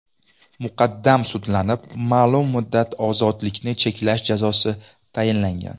Muqaddam sudlanib, ma’lum muddat ozodlikni cheklash jazosi tayinlangan.